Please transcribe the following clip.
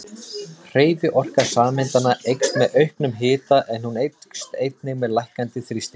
Hreyfiorka sameindanna eykst með auknum hita en hún eykst einnig með lækkandi þrýstingi.